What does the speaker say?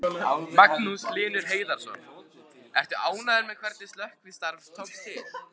Magnús Hlynur Hreiðarsson: Ertu ánægður með hvernig slökkvistarf tókst til?